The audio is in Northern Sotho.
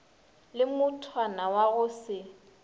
le mothwana wa go se